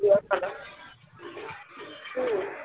চিড়িয়াখানা হুম?